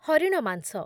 ହରିଣ ମାଂସ